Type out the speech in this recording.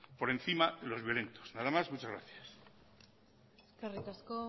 por encima de los violentos nada más muchas gracias eskerrik asko